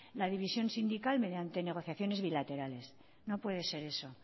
la división sindical mediante negociaciones bilaterales no puede ser eso